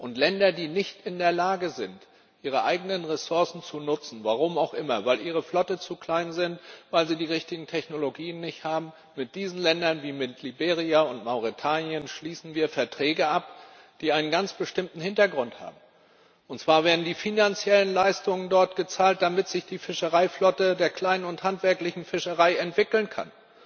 Und mit Ländern, die nicht in der Lage sind, ihre eigenen Ressourcen zu nutzen aus welchen Gründen auch immer weil ihre Flotte zu klein ist, weil sie nicht die richtigen Technologien haben mit solchen Ländern, wie etwa Liberia und Mauretanien, schließen wir Verträge ab, die einen ganz bestimmten Hintergrund haben Und zwar werden die finanziellen Leistungen dort gezahlt, damit sich die Fischereiflotte der kleinen und handwerklichen Fischerei entwickeln kann,